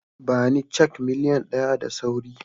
Ba ni cak miliyan ɗaya da sauri